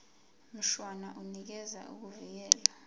mshwana unikeza ukuvikelwa